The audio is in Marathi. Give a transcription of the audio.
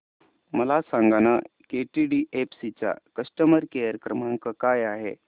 मला सांगाना केटीडीएफसी चा कस्टमर केअर क्रमांक काय आहे